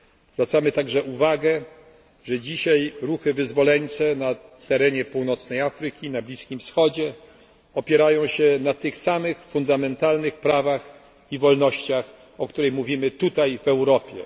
Zwracamy także uwagę, że dzisiaj ruchy wyzwoleńcze na terenie północnej Afryki, na Bliskim Wschodzie opierają się na tych samych fundamentalnych prawach i wolnościach, o których mówimy tutaj, w Europie.